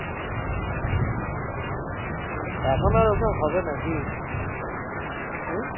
এখন আর ওসব হবে নাকি? হম